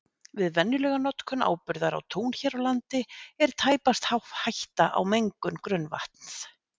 Við venjulega notkun áburðar á tún hér á landi er tæpast hætta á mengun grunnvatns.